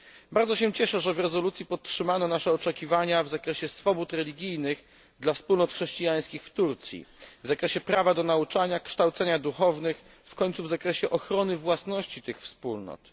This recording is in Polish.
Bardzo się cieszę, że w rezolucji podtrzymano nasze oczekiwania w zakresie swobód religijnych dla wspólnot chrześcijańskich w Turcji, w zakresie prawa do nauczania, kształcenia duchownych, w końcu w zakresie ochrony własności tych wspólnot.